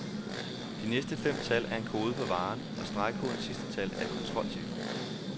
De næste fem tal er en kode for varen, og stregkodens sidste tal er et kontrolciffer.